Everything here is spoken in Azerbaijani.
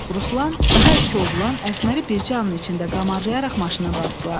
Ruslan, daha iki oğlan Əsməri bircə anın içində qamarlayaraq maşına basdılar.